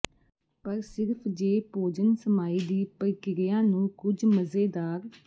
ਪਰ ਸਿਰਫ ਜੇ ਭੋਜਨ ਸਮਾਈ ਦੀ ਪ੍ਰਕਿਰਿਆ ਨੂੰ ਕੁਝ ਮਜ਼ੇਦਾਰ